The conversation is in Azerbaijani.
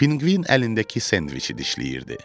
Pinqvin əlindəki sendviçi dişləyirdi.